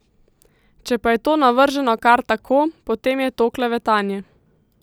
Če pa je to navrženo kar tako, potem je to klevetanje.